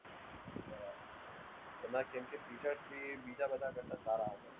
એમાં કેમ કે features બી બીજા બધા કરતા સારા હોય છે.